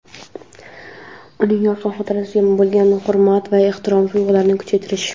uning yorqin xotirasiga bo‘lgan hurmat va ehtirom tuyg‘ularini kuchaytirish.